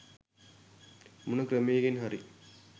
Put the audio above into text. මොන ක්‍රමයකින් හරි